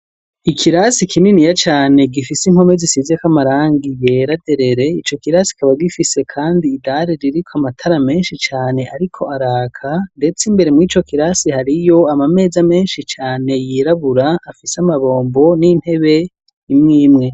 Ikirasi kininiya cane gifise impome zisizeko amarangi ryera derere, ico kirasi kikaba gifise kandi idare ririko amatara menshi cane ariko araka, ndetse imbere murico kirasi hariyo ama meza menshi cane yirabura afise amabombo n'intebe imwimwe.